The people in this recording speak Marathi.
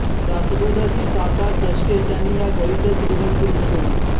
दासबोधाची सात आठ दशके त्यांनी या घळीतच लिहून पूर्ण केली